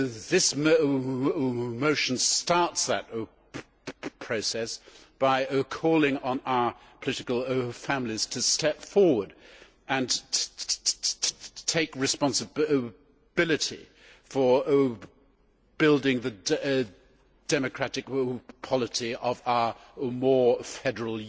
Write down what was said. This motion starts that process by calling on our political families to step forward and take responsibility for building the democratic polity of our more federal